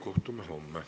Kohtume homme.